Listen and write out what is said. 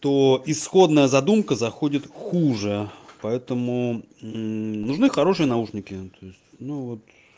то исходная задумка заходит хуже поэтому мм нужны хорошие наушники то есть ну вот